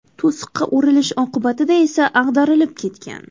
To‘siqqa urilish oqibatida esa ag‘darilib ketgan.